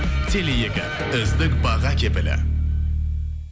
теле екі үздік баға кепілі